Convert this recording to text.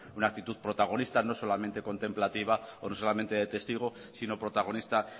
una actitud protagonista no solamente contemplativa o no solamente de testigo sino protagonista